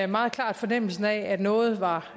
meget klart fornemmelsen af at noget var